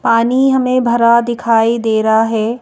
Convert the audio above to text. पानी हमें भरा दिखाई दे रहा है।